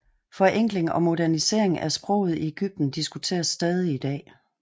Forenkling og modernisering af sproget i Egypten diskuteres stadig i dag